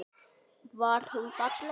Var hún falleg?